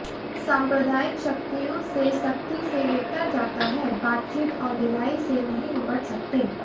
साम्प्रदायिक शक्तियों से सख्ती से निपटा जाता है बातचीत और ढिलाई से नहीं निपट सकते